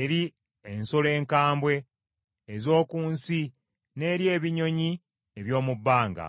eri ensolo enkambwe ez’oku nsi n’eri ebinyonyi eby’omu bbanga.